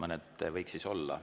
Mõned võiks siin olla.